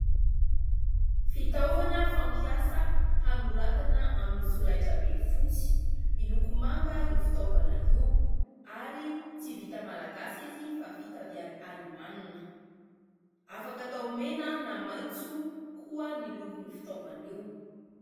Fitaovana fampiasa hanoratana amin'ny solaitra be fotsy, miloko manga io fitaovana io ary tsy vita malagasy izy fa vita avy any Alemanina, afaka atao mena na maitso koa ny lokon'io fitaovana io.